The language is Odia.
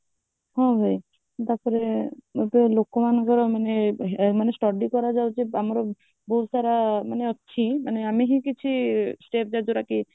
ହଁ ଭାଇ ତାପରେ ଲୋକମାନଙ୍କର ମାନେ study କରାଯାଉଛି ଯେ ଆମର ବହୁତ ସାରା ମାନେ ଅଛି ମାନେ ଆମେ ହିଁ କିଛି set ଦରକାର ଯଉଟା କି